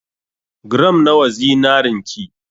Gram nawa zinarin ki?